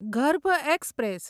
ગર્ભ એક્સપ્રેસ